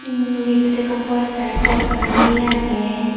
umm gettot ekkan postar lageyi agey.